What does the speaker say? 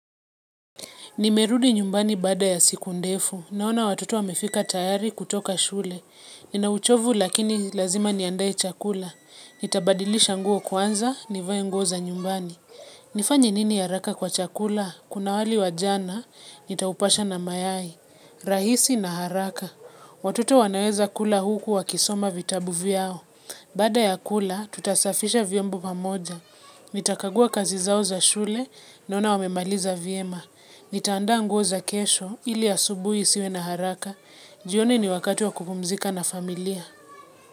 Nimerudi nyumbani bada ya siku ndefu. Naona watoto wamefika tayari kutoka shule. Ninauchovu lakini lazima niandae chakula. Nitabadilisha nguo kwanza, nivae nguo za nyumbani. Nifanye nini haraka kwa chakula? Kuna wali wa jana, nitaupasha na mayai. Rahisi na haraka. Watoto wanaweza kula huku wakisoma vitabu vyao. Baada ya kula, tutasafisha vyombo pamoja. Nitakagua kazi zao za shule, naona wamemaliza viema. Nitaandaa nguo za kesho ili asubuhi siwe na haraka. Jioni ni wakatu wa kupumzika na familia.